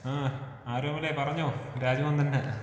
ആഹ്, ആരോമലേ പറഞ്ഞോ. രാജ്മോൻ തന്നെയാ.